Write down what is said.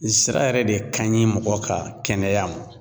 Zira yɛrɛ de ka ɲi mɔgɔ ka kɛnɛya ma